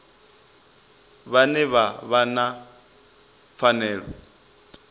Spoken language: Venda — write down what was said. vhane vha vha na pfanelo